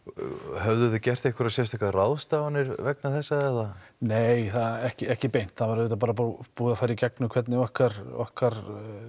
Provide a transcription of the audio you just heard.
höfðuð þið gert einhverjar sérstakar ráðstafanir vegna þessa nei ekki ekki beint það var auðvitað bara búið að fara í gegnum hvernig okkar okkar